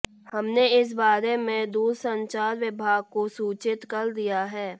हमने इस बारे में दूरसंचार विभाग को सूचित कर दिया है